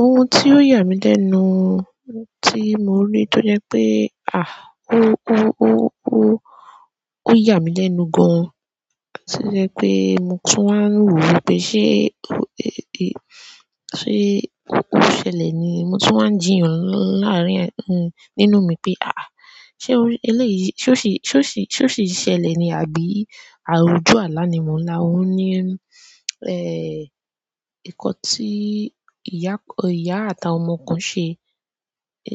Ohun tí ó yà mí lẹ́nu, tí mo rí tó jẹ́ pé à, ó, ó, ó, ó, ó yà mí lẹ́nu gan-an, to jẹ́ pé mo tún wáa ń rò wípé ṣe, pe ó ṣẹlẹ̀ ni? Mo tún wáa ń jìyàn láàárín e, nínú mi pé à, ṣe eléyìí, ṣe ó ṣe, ṣe ó ṣe, ṣe ó ṣe ṣẹlẹ̀ ni àbí àrujú àlá ni mò ń là? Ó ní, e, nkan tí ìyá, ìyá àti àwọn ọmọ kan ṣe, e,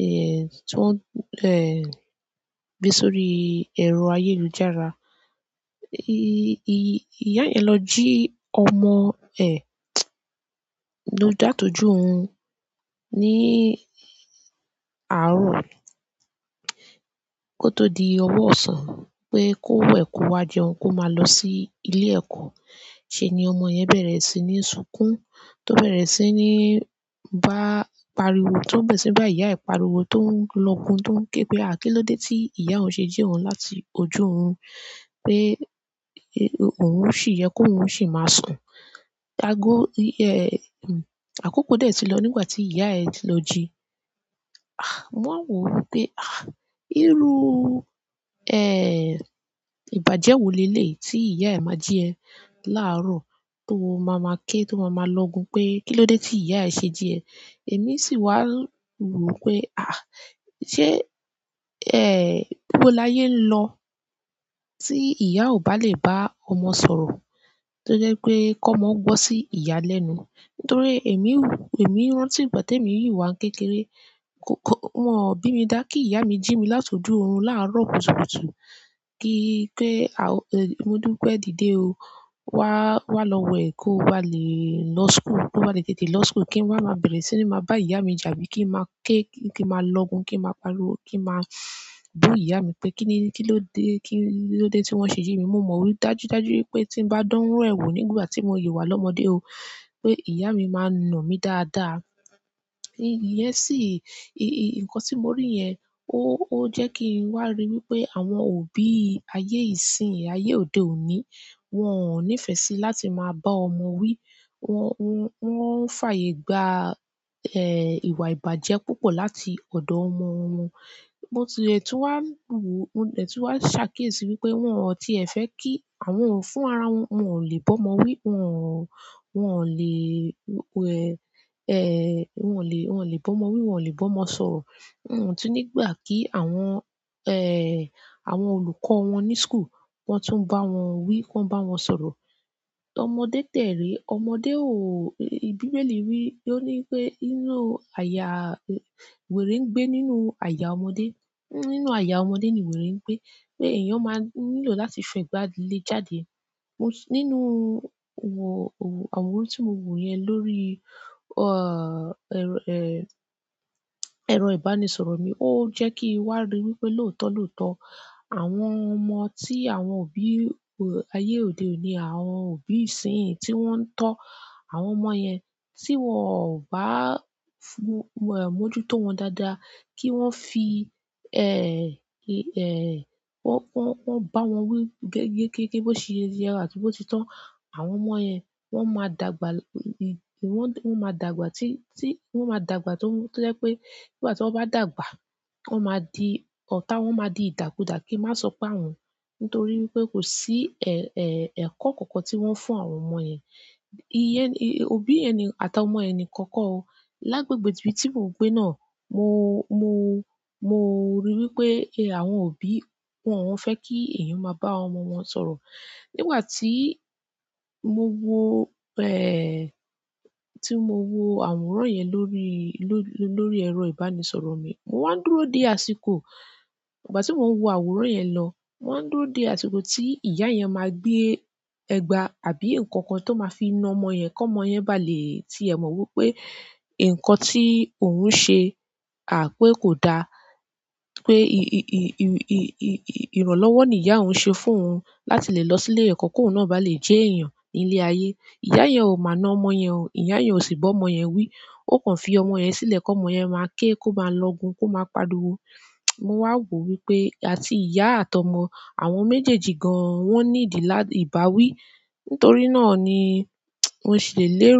tí wọ́n, e, gbe sórí ẹ̀rọ ayélujára. Ìyá yẹn lọ ji ọmọ ẹ la tọ́jú oòrún níí àárọ̀ kó tó di ọwọ ọ̀sán pé kó wẹ̀ kówá jẹun kó máa lọ sí ilé ẹ̀kọ́. Ṣé ni ọmọ yẹn bẹ̀rẹ̀ sí ní sunkún, tó bẹ̀rẹ̀ sí ní bá pariwo, tó bẹ̀rẹ̀ sí bá ìyá e pariwo tó ń lọ́gun tó ń ké pé à kín ló dé tí ìyá ọún ṣe jí ọún láti ojú orún pé òun ó sì yẹ kó òun ó sì máa sùn. Ágo, ìyẹ, àkókò dé tí lọ nígbà tí ìyá ẹ̀ ti lọ ji. Ah, mo ma wò wípé à, irú, e, ìbàjẹ́ wo lé lé tí ìyá e ma jí ẹ láàárọ̀ tó máa ma ké tó máa ma lọ́gun pé kín ló dé tí ìyá e ṣe jí ẹ. Èmi sì wá wò wípé à, ṣe, ẹ, ibó láyé ń lọ tí ìyá ò bá lè bá ọmọ sọ̀rọ̀ tó jẹ́ pé kọ́mọ gbọ́ sí ìyá lẹ́nu. Nítorí èmi, èmi rántí ìgbà tí èmi yìí wá ń kékeré, k-k wọ́n ò bí mi dá kí ìyá mi jí mi látojú òrun láàárọ̀ kùtùkùtù kí pé, modúpẹ dìde o, wá, wá lọ wẹ̀ kó o bá lè lọ school, kó o bá lè tètè lọ school. Kí n wá máa bẹ̀rẹ̀ sí ní máa bá ìyá mi jà bíi kí n máa ké kí n máa lọ́gun kí n máa pariwo kí n máa bú ìyá mi pé kí ni, kí ló dé, kí ló dé tí wọ́n ṣe jí mi. Mo mọ̀ dájúdájú wípé tí ń bá dán rú ẹ̀ wo nígbà tí mo yi wá lọ́mọdé o pé ìyá mi máa nà mí dáadáa. Ìyẹn sí, nkán ti mo ri yẹn o jẹ kí n wa ri wípé àwọn òbí ayé ìsìn ayé òde òní wọn n'ifẹ sí láti máa bá ọmọ wí. Wọn f'ayè gbá ẹ, ìwà ìbàjẹ́ púpọ̀ láti ọ̀dọ̀ ọmọ wọn. Mo ti le tún wá wò, mo dẹ̀ tún wá ṣàkiésí wípé wọn ọ́ tí ẹ fẹ́ kí àwọn fún ara wọn, wọ́n ò lè bọ́mọ wí, wọ́n, wọ́n ò lè, wẹ, e, wọ́n ò lè, wọ́n ò lè bọ́mọ wí, wọ́n ò lè bọ́mọ sọ̀rọ̀. Wọ́n tun ní gbà kí àwọn, e, àwọn olùkọ́ wọn ní school kan tún bá wọn wí, wọ́n bá wọn sọ̀rọ̀. Ọmọdé tẹ̀rè, ọmọdé ò, bíbélì wí, ó ní pé inú àyà wèrè ń gbé nínú àyà ọmọdé. Nínú àyà ọmọdé ni wèrè ń gbé pé èèyàn máa nílò láti fẹ́ gbà á lé jáde. Mo sì nínú wò, wò àwòrán tí mo wò yẹn lórí, o, ẹ̀rọ, e, ẹ̀rọ ìbánisọ̀rọ̀ mi, ó jẹ́ kí wá rí wípé lóòótọ́ lóòótọ́, àwọn ọmọ tí àwọn òbí ayé òde òní àwọn òbí ìsín yìí tí wọ́n ń tọ́ àwọn ọmọ yẹn tí wọ́n ò bá fu, e, mójútó wọn dáadáa kí wọ́n fi, e, ẹ, wọ́n, wọ́n bá wọn wí gẹ́gẹ́ kéké bó ṣe yẹ wá tì bó ti tán. Àwọn ọmọ yẹn wọ́n máa dàgbà, ìwọ́n, wọ́n máa dàgbà tí, tí wọ́n máa dàgbà tó, tó jẹ́ pé nígbà tí wọ́n bá dàgbà wọ́n máa di ọ̀tá, wọ́n máa di ìtàkùdà kì í má sọ pé à wọn. Nítorí wípé kò sí, e, e, ẹ̀kọ́ kankan tí wọ́n ń fún àwọn ọmọ yẹn. Iyẹn òbí ẹni àtà ọmọ yẹn ni kan kọ o. Lágbègbè ibi tí mo gbé náà mo, mo, mo ríi wípé àwọn òbí wọ́n ò fẹ́ kí èèyàn máa bá àwọn ọmọ wọn sọ̀rọ̀. Nígbà tí mo wo, ẹ, tí mo wo àwòrán yẹn lórí, lórí, lórí ẹ̀rọ ìbánisọ̀rọ̀ mi, mo máa ń dúró dé àsìkò ìgbà ti mó ǹ wò àwòrán yẹn lọ mo wá ǹ dúró dè àsìkò ti ìyá yẹn máa gbé ẹgba àbí nkankan to máa fi nà ọmọ yẹn kọmọ bà lé tiẹ mọ wipé nkan ti òun ṣe pé ko dá pé ì-ì-ì-ì-ì-ì-ìranlọ́wọ́ ni ìyá ọún ṣe fún òun láti lè lọ sí ilé ẹ̀kọ́ kó òun náà bá lè jẹ́ èèyàn nílé ayé. Ìyá yẹn ò máa na ọmọ yẹn o, ìyá yẹn ò sì bá ọmọ yẹn wí. Ó kàn fi ọmọ yẹn sílẹ̀ kó ọmọ yẹn máa ké kó máa lọ́gun kó máa pariwo. Mo wá wò wípé àti ìyá àti ọmọ, àwọn méjèèjì gan wọ́n ní ìdí lá ìbá wí. Nítorí náà ni mo sì lè lérò.